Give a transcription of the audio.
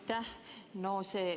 Aitäh!